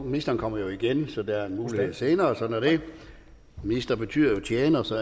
ministeren kommer jo igen så der er en mulighed igen senere og sådan er det minister betyder jo tjener så